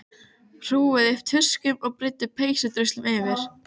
Hrúguðu upp tuskum og breiddu peysudruslu yfir.